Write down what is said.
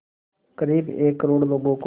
क़रीब एक करोड़ लोगों को